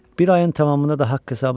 Bir ayın tamamına da haqq-hesab.